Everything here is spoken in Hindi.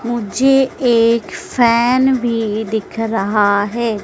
मुझे एक फैन भी दिख रहा है।